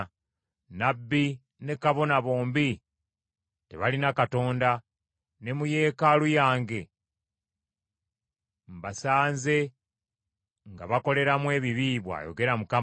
“Nnabbi ne kabona bombi tebalina Katonda, ne mu yeekaalu yange mbasanze nga bakoleramu ebibi,” bw’ayogera Mukama .